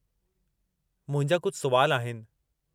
मुंहिंजा कुझु सुवाल आहिनि।